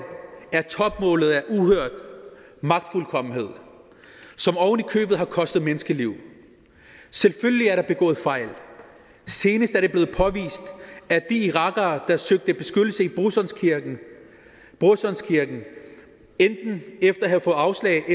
er topmålet af uhørt magtfuldkommenhed som ovenikøbet har kostet menneskeliv selvfølgelig er der begået fejl senest er det blevet påvist at de irakere der søgte beskyttelse i brorsons kirke brorsons kirke efter at have fået afslag